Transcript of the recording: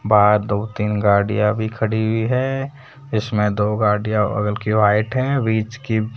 बाहर दो तीन गाड़ियां भी खड़ी हुई है इसमें दो गाड़ियां हल्की व्हाइट है बीच की --